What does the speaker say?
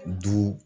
Du